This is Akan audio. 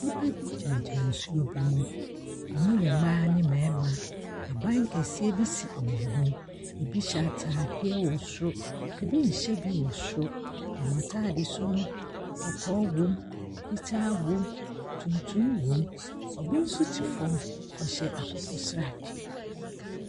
Nnipa bi gyinagyina nsuo bi mu. Wɔya mmaa me mmarima. Ɛdan kɛseɛ bi si wɔn anim. Ɛbo hyɛ atadeɛ wɔ soro, ɛbi hyɛ bi wɔ soro. Wɔn atadeɛ su no, kɔkɔɔ wɔ mu. Fitaa wɔ mu tuntum wɔ mu. Obi nsop te fam, ɔhyɛ akokɔsradeɛ.